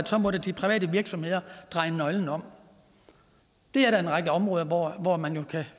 så måtte de private virksomheder dreje nøglen om der er en række områder hvor man kan